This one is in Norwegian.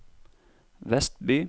Vestby